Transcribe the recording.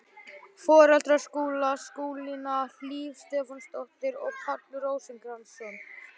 Foreldrar Skúla, Skúlína Hlíf Stefánsdóttir og Páll Rósinkransson.